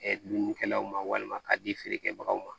dumunikɛlaw ma walima k'a di feerekɛbagaw ma